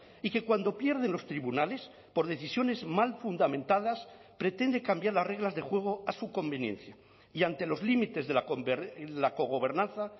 y que cuando pierde en los tribunales por decisiones mal fundamentadas pretende cambiar las reglas de juego a su conveniencia y ante los límites de la cogobernanza